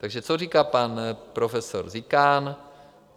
Takže co říká pan profesor Zikán?